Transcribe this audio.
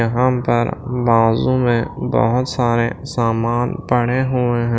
यहां पर बाजू में बहुत सारे सामान पड़े हुए हैं।